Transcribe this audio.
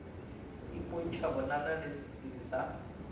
ipontšha bonana le setsebi sa